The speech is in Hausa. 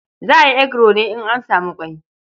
Za a yi eguro ne in an samu ƙwai.